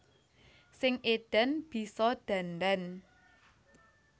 Sing edan bisa dandan